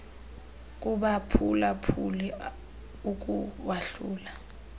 kubaphula phuli ukuwahlula